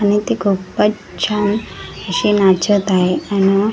आणि ती खुपच छान अशी नाचत आहे आण .